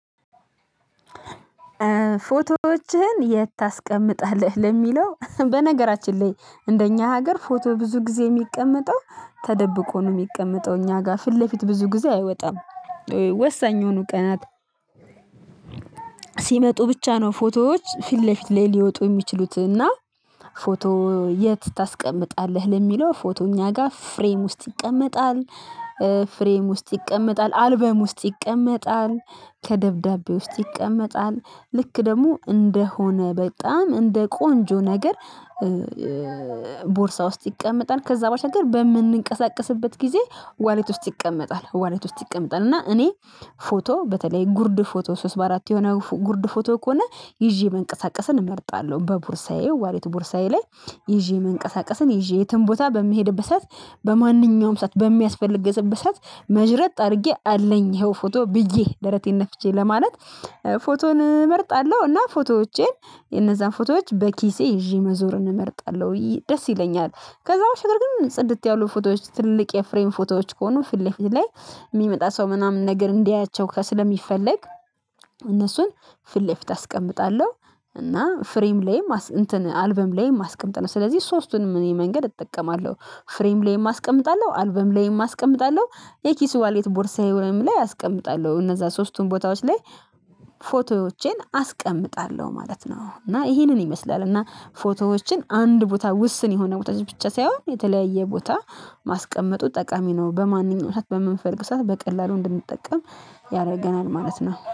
ፎቶዎችህን የት ታስቀምጣለህ? ለሚለው በነገራችን ላይ እንደኛ ሀገር ፎቶ ብዙ ጊዜ የሚቀመጠው ተደብቆ ነው የሚቀመጠው እኛ ጋ፤ ፊት ለፊት ብዙ ጊዜ አይወጣም። ወሳኝ የሆኑ ቀናት ሲመጡ ብቻ ነው ፎቶዎች ፊት ለፊት ላይ ሊወጡ የሚችሉት እና ፎቶ የት ታስቀምጣለህ? ለሚለው ፎቶ እኛ ጋር ፍሬም ውስጥ ይቀመጣል፤ ፍሬም ውስጥ ይቀመጣል አልበም ውስጥ ይቀመጣል፤ ከደብዳቤ ውስጥ ይቀመጣል፤ ልክ ደግሞ እንደሆነ በጣም እንደ ቆንጆ ነገር ቦርሳ ውስጥ ይቀመጣል ከዛ ባሻገር በምንንቀሳቀስበት ጊዜ ዋሌት ውስጥ ይቀመጣል ዋሌት ውስጥ ይቀመጣል። እና እኔ ፎቶ በተለይ ጉርድ ፎቶ፤ ሶስት በአራት የሆነ ጉርድ ፎቶ ከሆነ ይዤ መንቀሳቀስን እመርጣለሁ። በቡርሳዬ ዋሌት ቡርሳዬ ላይ ይዤ መንቀሳቀስን ይዤ የትም ቦታ በሚሄድበት ሰዓት፤ በማንኛውም ሰዓት፤ በሚያስፈልግበት ሰዓት መዥረጥ አድርጌ፤ አለኝ ይኸው ፎቶ ብዬ ደረቴን ነፍቼ ለማለት ፎቶን እመርጣለሁ እና ፎቶዎቼን የነዛን ፎቶዎች በኪሴ ይዤ መዞርን እመርጣለሁ፤ ደስ ይለኛል ከዛ በፊት ግን ጽድት ያሉ ፎቶዎች ትልቅ የፍሬም ፎቶዎች ከሆኑ ፊት ለፊት ላይ የሚመጣ ሰው ምናምን ነገር እንዲያያቸው ከስለሚፈለግ እነሱን ፊለፊት አስቀምጣለሁ። እና ፍሬም ላይም አልበም ላይም አስቀምጣለው። ስለዚህ ሶስቱንም እኔ መንገድ እጠቀማለሁ ፍሬም ላይም አስቀምጣለው፤ አልበም ላይም አስቀምጣለሁ የኪሱ ዋሌት ቦርሳዬ ወይም ላይ አስቀምጣለሁ እነዛ ሶስቱን ቦታዎች ላይ ፎቶዎቼን አስቀምጣለሁ ማለት ነው። እና ይሄንን ይመስላል እና ፎቶዎችን አንድ ቦታ፤ ውስን የሆነ ቦታ ብቻ ሳይሆን የተለያየ ቦታ ማስቀመጡ ጠቃሚ ነው። በማንኛው በምንፈልግ ሰዓት በቀላሉ እንድንጠቀም ያደርገናል ማለት ነው።